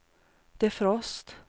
defrost